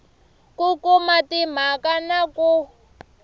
ku kuma timhaka na ku